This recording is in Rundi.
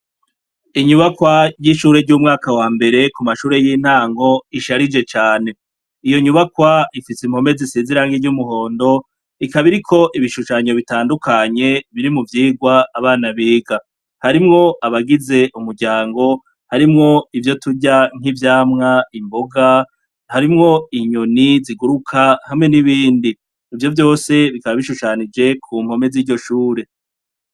Inyubakwa ry'ishure ry'umwaka wa mbere ku mashure y'intango isharije cane, iyo nyubakwa ifise impome zisize irangi ry'umuhondo, ikaba iriko ibishushanyo bitandukanye biri mu vyigwa abana biga, harimwo abagize umuryango, harimwo ivyo turya nk'ivyamwa, imboga harimwo inyoni ziguruka hamwe n'ibindi, ivyo vyose bikaba bishushanyije ku mpome ziryo shure.